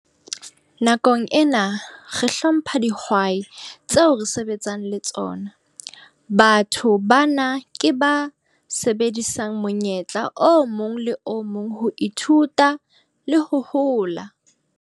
Nakong ena re hlompha dihwai tseo re sebetsang le tsona. Batho bana ke ba sebedisang monyetla o mong le o mong ho ithuta le ho hola.